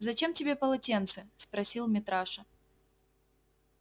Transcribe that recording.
зачем тебе полотенце спросил митраша